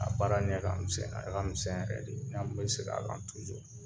A baara ɲɛ ka misɛn, an misɛn yɛrɛ de. N'an bɛ sɛgɛ a la